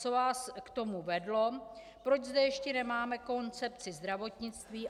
Co vás k tomu vedlo, proč zde ještě nemáme koncepci zdravotnictví?